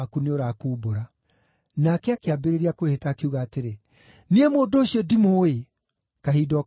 Nake akĩambĩrĩria kwĩhĩta, akiuga atĩrĩ, “Niĩ mũndũ ũcio ndimũũĩ!” Kahinda o kau ngũkũ ĩgĩkũga.